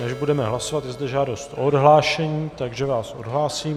Než budeme hlasovat, je zde žádost o odhlášení, takže vás odhlásím.